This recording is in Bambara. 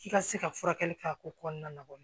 K'i ka se ka furakɛli kɛ a ko kɔnɔna na